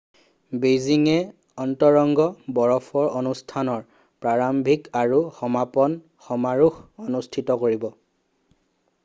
বেইজিংয়ে অন্তৰংগ বৰফৰ অনুষ্ঠানৰ প্ৰাৰম্ভিক আৰু সমাপন সমাৰোহ অনুষ্ঠিত কৰিব